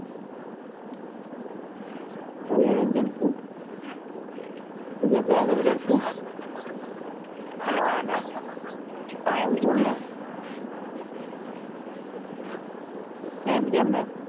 ભાઈ avengers નુ હમ avengers નું ના ના આ end game ને end game ને